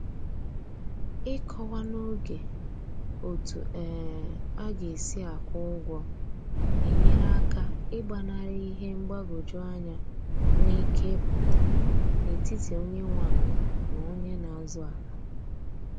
Ịkọwa n'oge otu um a ga-esi akwụ ụgwọ na-enyere aka ị gbanarị ihe mgbagwoju anya nwe ike ịpụta n'etiti onye nwe ala na onye na azụ ala